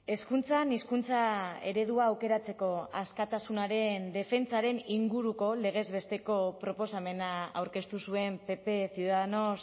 hezkuntzan hizkuntza eredua aukeratzeko askatasunaren defentsaren inguruko legez besteko proposamena aurkeztu zuen pp ciudadanos